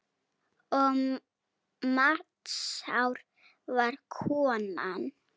Og matsár var konan.